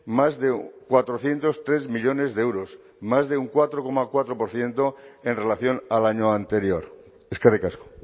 más de cuatrocientos tres millónes de euros más de un cuatro coma cuatro por ciento en relación al año anterior eskerrik asko